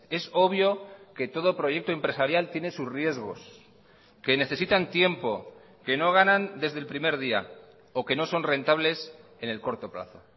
es obvio que todo proyecto empresarial tiene sus riesgos que necesitan tiempo que no ganan desde el primer día o que no son rentables en el corto plazo